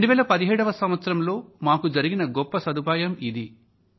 2017లో మాకు జరిగిన గొప్ప సదుపాయం ఇది